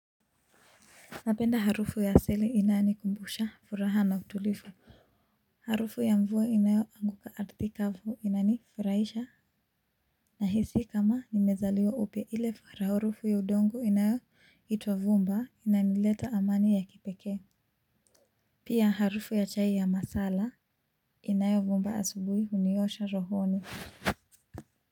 Napenda harufu ya sili inanikumbusha furaha na utulivu. Harufu ya mvua inayoanguka arthi kavu inanifuraisha. Nahisi kama nimezaliwa upya ile harufu ya udongo inayoitwa vumba inanileta amani ya kipekee. Pia harufu ya chai ya masala inayovumba asubuhi huniosha rohoni.